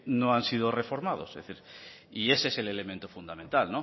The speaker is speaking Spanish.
no han sido reformados y ese es el elemento fundamental